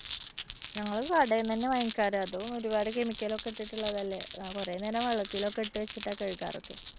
ഞങ്ങള് കടേന്ന് തന്നെയാ വാങ്ങിക്കാറ്. അതും ഒരുപാട് chemical ഒക്കെ ഇട്ടിട്ടുള്ളതല്ലേ? അഹ് കുറേനേരം വെള്ളത്തിലൊക്കെ ഇട്ടുവെചിട്ടാ കഴുകാറൊക്കെ.